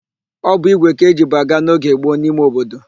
Ọ bụ ígwè ka ejibu aga n'oge gboo n'ime obodo.